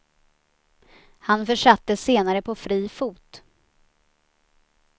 Han försattes senare på fri fot.